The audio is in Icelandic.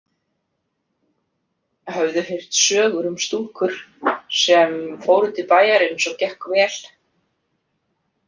Höfðu heyrt sögur um stúlkur sem fóru til bæjarins og gekk vel.